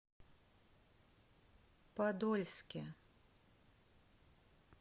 подольске